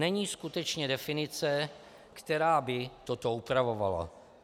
Není skutečně definice, která by toto upravovala.